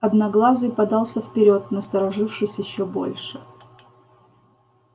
одноглазый подался вперёд насторожившись ещё больше